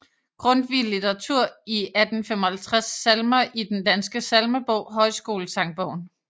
Grundtvig Litteratur i 1855 Salmer i Den Danske Salmebog Højskolesangbogen